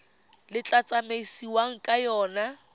le tla tsamaisiwang ka yona